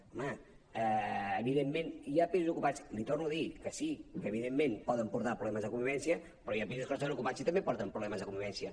home evidentment hi ha pisos ocupats li ho torno a dir que sí que evidentment poden portar problemes de convivència però hi ha pisos que no estan ocupats i també porten problemes de convivència